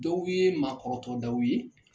Dɔw ye maa kɔrɔtɔ tɔgɔdaw ye